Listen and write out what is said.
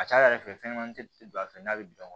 A ca ala fɛ fɛnɲɛnamani tɛ don a fɛ n'a bɛ dɔn